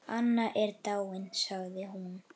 Anna er dáin sagði hún.